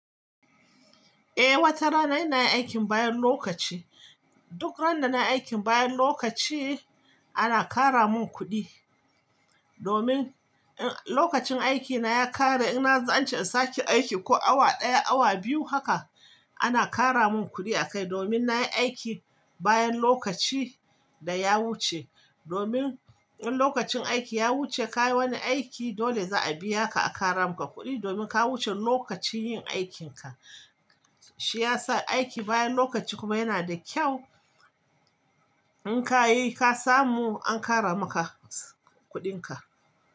Eh wata rana ina yin aikin bayan lokaci, duk ran da nayi aikin bayan lokaci ana kara mun kuɗi, domin in lokacin aiki na ya kare ina zance in sake aiki ko awa ɗaya awa biyu haka ana kara mun kuɗi a kai domin na yi aiki bayan lokaci da ya wuce, domin in lokacin aiki ya wuce ka yi wani aiki dole za a biya ka a kara muka kuɗi domin ka wuce lokacin yin aikin ka. Shi ya sa aiki bayan lokaci kuma yana da kyau in ka yi ka samu an kara maka kuɗin ka.